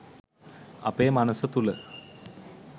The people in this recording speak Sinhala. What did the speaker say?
අපේ මනස තුළ